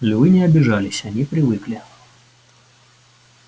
львы не обижались они привыкли